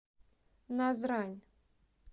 назрань